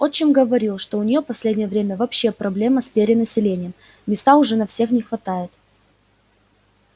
отчим говорил что у неё последнее время вообще проблема с перенаселением места уже на всех не хватает